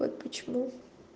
вот почему